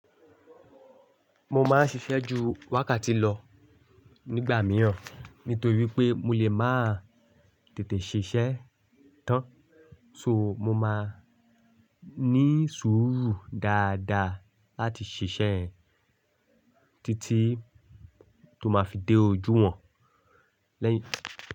Mo máa ń ṣiṣẹ́ ju wákàtí lọ nígbà miíràn nítorí pé mo lè má tètè ṣiṣẹ́ tán so mo máa ní sùúrù dáadáa láti ṣiṣẹ́ títí tó máa fi dé ojú wọn lẹ́yìn.